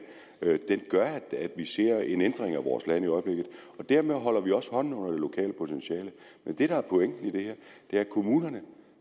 til at vi ser en ændring af vores land i øjeblikket og derfor holder vi også hånden under det lokale potentiale men det der er pointen i det her er at kommunerne